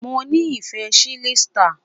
Mo ni ife chilled star